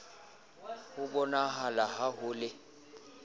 a bonahala ha ho le